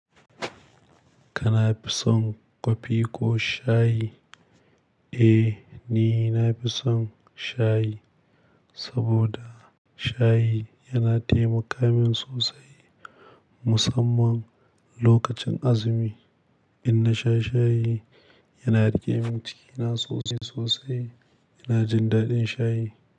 Kana fison kwafi ko shayi? Eh, ni na fi son shayi saboda shayi yana taimakawa min sosai musamman lokacin azumi. In na sha shayi, yana rage min cikina sosai sosai. Ina jin daɗin shayi.